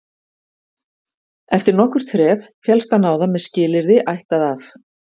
Eftir nokkurt þref féllst hann á það með skilyrði ættað af